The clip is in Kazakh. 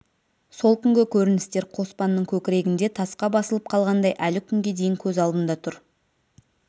сол күнгі көріністер қоспанның көкірегінде тасқа басылып қалғандай әлі күнге дейін көз алдында тұр